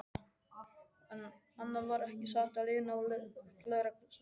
Annað var ekki sagt á leiðinni á lögreglustöðina.